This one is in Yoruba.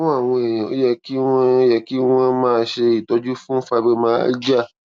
fún àwọn èèyàn ó yẹ kí wón yẹ kí wón máa ṣe ìtọjú fún fibromyalgia